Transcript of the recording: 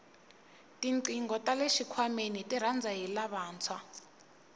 tinqingho tale xikhwameni tirhandza hi lavantshwa